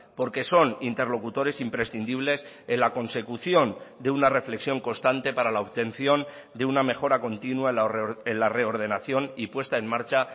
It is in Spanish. porque son interlocutores imprescindibles en la consecución de una reflexión constante para la obtención de una mejora continua en la reordenación y puesta en marcha